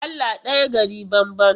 Allah ɗaya gari banban.